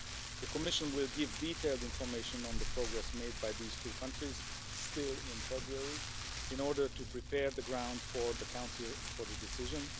The Commission will give detailed information on the progress made by these two countries still in February, in order to prepare the ground for the Council for the decision.